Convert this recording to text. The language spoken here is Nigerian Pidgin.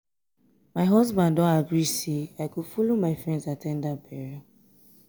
my husband don agree say i go follow my friends at ten d dat burial